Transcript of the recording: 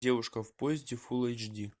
девушка в поезде фул эйч ди